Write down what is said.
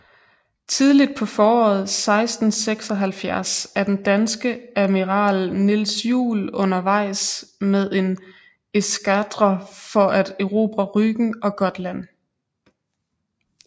Tidligt på foråret 1676 er den danske amiral Niels Juel undervejs med en eskadre for at erobre Rügen og Gotland